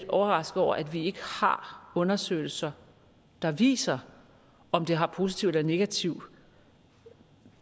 overrasket over at vi ikke har undersøgelser der viser om det har positiv eller negativ